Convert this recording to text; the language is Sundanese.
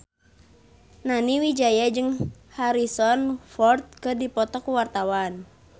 Nani Wijaya jeung Harrison Ford keur dipoto ku wartawan